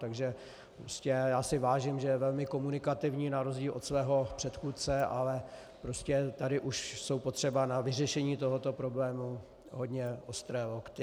Takže prostě já si vážím, že je velmi komunikativní na rozdíl od svého předchůdce, ale prostě tady už jsou potřeba na vyřešení tohoto problému hodné ostré lokty.